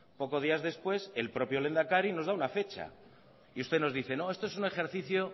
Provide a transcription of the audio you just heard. pocos días después el lehendakari nos da una fecha y usted nos dice no esto es un ejercicio